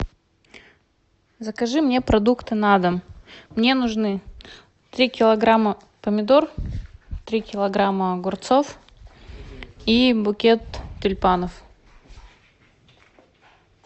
закажи мне продукты на дом мне нужны три килограмма помидор три килограмма огурцов и букет тюльпанов